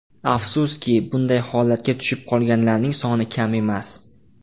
Afsuski, bunday holatga tushib qolganlarning soni kam emas.